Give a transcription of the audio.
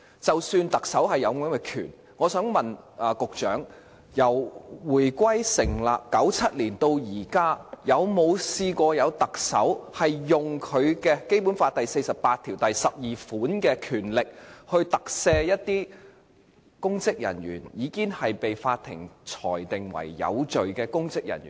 即使特首有這項權力，我想請問局長，由香港回歸、特區成立、1997年到現在，有沒有特首曾運用《基本法》第四十八條第項賦予他的權力，特赦一些已經被法庭裁定罪成的公職人員？